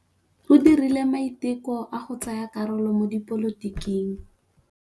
O dirile maitekô a go tsaya karolo mo dipolotiking.